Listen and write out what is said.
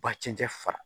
Ba cɛncɛ fara